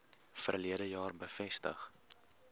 verlede jaar bevestig